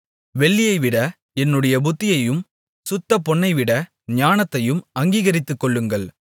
வெள்ளியைவிட என்னுடைய புத்திமதியையும் சுத்தபொன்னைவிட ஞானத்தையும் அங்கீகரித்துக்கொள்ளுங்கள்